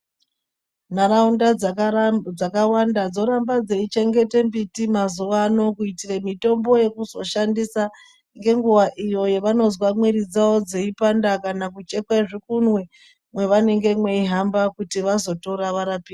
Nharaunda dzakawanda dzoramba dzeichengete mbiti mazuwa ano kuitire mitombo yekuzoshandisa ngenguwa iyo yavanozwa mwiri dzavo dzeipanda kana kuchekwe zvikunwe mwevanenge veihamba kuti vazotora varapike.